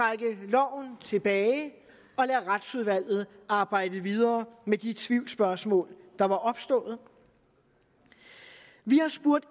og tilbage og lade retsudvalget arbejde videre med de tvivlsspørgsmål der var opstået vi har spurgt